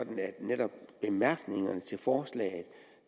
for